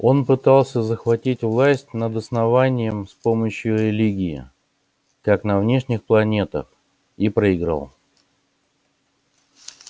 он пытался захватить власть над основанием с помощью религии как на внешних планетах и проиграл